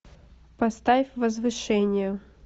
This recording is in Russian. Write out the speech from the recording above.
поставь возвышение